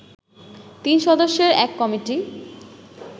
তিন সদস্যের এক কমিটি